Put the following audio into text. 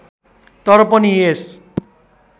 तर पनि यस